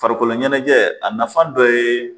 Farikolo ɲɛnajɛ a nafa dɔ ye